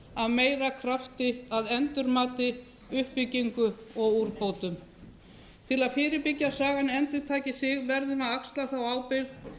af meira krafti að endurmati uppbyggingu og úrbótum til að fyrirbyggja að sagan endurtaki sig verðum við að axla þá ábyrgð